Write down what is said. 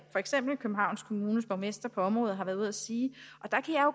for eksempel københavns kommunes borgmester på området har været ude og sige